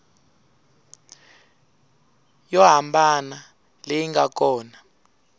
yo hambana leyi nga kona